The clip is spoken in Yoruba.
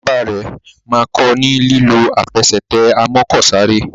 Bàbá rẹ má kò ní lilọ Àfẹsẹ̀tẹ̀ amọ́kọ̀sáré.